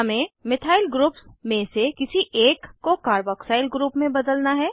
हमें methyl groups में से किसी एक को कार्बोक्सिल ग्रुप में बदलना है